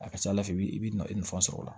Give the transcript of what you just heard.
A ka ca ala fɛ i b'i na i nafa sɔrɔ o la